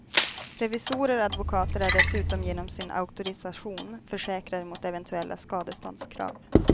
Revisorer och advokater är dessutom genom sin auktorisation försäkrade mot eventuella skadeståndskrav.